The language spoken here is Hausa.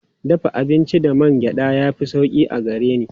Dafa abinci da man gyaɗa ya fi sauƙi a gare ni.